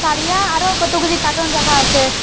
তারিয়া আরও কতগুলি কার্টন রাখা আসে।